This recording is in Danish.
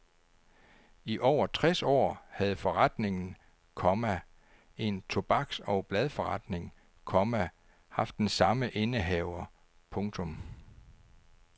I over tres år havde forretningen, komma en tobaks og bladforretning, komma haft den samme indehaver. punktum